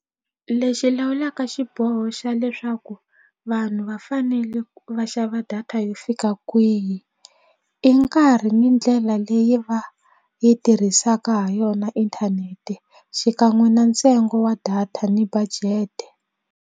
Lexi lawulaka xiboho xa leswaku vanhu va fanele va xava data yo fika kwihi i nkarhi ni ndlela leyi va yi tirhisaka ha yona inthanete xikan'we na ntsengo wa data ni budget.